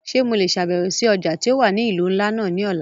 Ṣe Mo le ṣabẹwo si ọja ti o wa ni ilu nla náa ni ọla?